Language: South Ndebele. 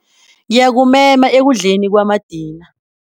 Ngiyakumema ekudleni kwamadina.